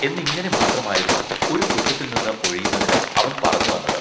എന്നിങ്ങിനെ മാത്രമായിരുന്നു ഒരു കുറ്റത്തിൽനിന്ന് ഒഴിയുന്നതിന് അവൻ പറഞ്ഞുവന്നത്.